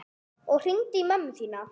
Og hringdu í mömmu þína.